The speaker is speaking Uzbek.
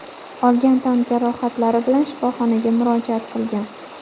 olgan tan jarohatlari bilan shifoxonaga murojaat qilgan.